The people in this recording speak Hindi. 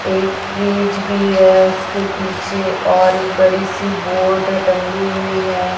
एक फ्रिज भी है उसके पीछे और एक बड़ी सी बोर्ड टंगी हुई है।